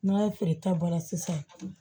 N'a feere ta bɔra sisan